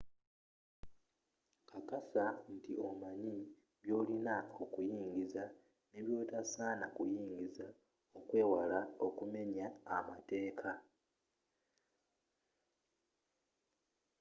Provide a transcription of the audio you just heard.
kakasa nti omanya byolina okuyingiza ne byotasanye kuyingiza okwewala okumenya amateka